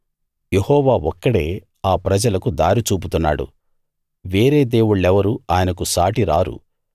యెహోవా ఒక్కడే ఆ ప్రజలకు దారి చూపుతున్నాడు వేరే దేవుళ్ళెవరూ ఆయనకు సాటిరారు